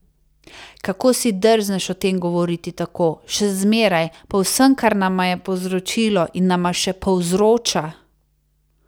Kako si drzneš o tem govoriti tako, še zmeraj, po vsem, kar nama je povzročilo in nama še povzroča?